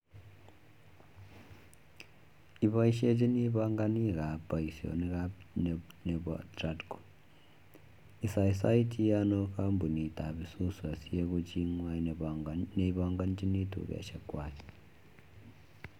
Ipaishechinii panganik ab paishonik ab nepo tradco isasaitinii anoo kampuniit ab isuzu asieku chitnywa nee panganjinii tukoshek kwaa